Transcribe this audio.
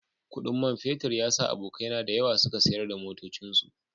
Kudin man fetur ya sa abokaina da yawa suka sayar da motocinsu